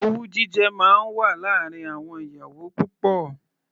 Owú jíjẹ máa wà láàárín àwọn ìyàwó púpọ̀.